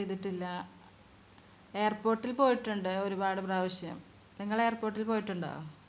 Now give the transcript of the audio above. airport ൽ പോയിട്ടുണ്ട് ഒരുപാട് പ്രാവശ്യം നിങ്ങൾ airport ൽ പോയിട്ടുണ്ടോ